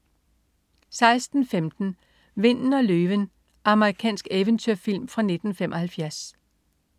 16.15 Vinden og løven. Amerikansk eventyrfilm fra 1975